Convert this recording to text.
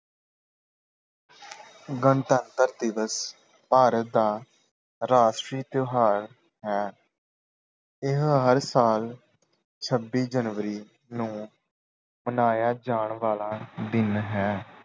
ਗਣਤੰਤਰ ਦਿਵਸ ਭਾਰਤ ਦਾ ਰਾਸ਼ਟਰੀ ਤਿਉਹਾਰ ਹੈ। ਇਹ ਹਰ ਸਾਲ ਛੱਬੀ ਜਨਵਰੀ ਨੂੰ ਮਨਾਇਆ ਜਾਣ ਵਾਲਾ ਦਿਨ ਹੈ।